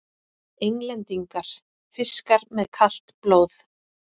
Englendingar: fiskar með kalt blóð!